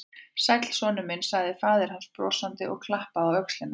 Sæll, sonur minn sagði faðir hans brosandi og klappaði á öxlina á honum.